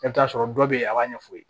I bɛ t'a sɔrɔ dɔw bɛ a b'a ɲɛfɔ